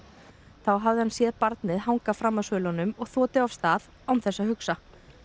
þá hafi hann séð barnið hanga fram af svölunum og þotið af stað án þess að hugsa